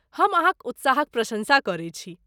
हम अहाँक उत्साहक प्रशंसा करैत छी।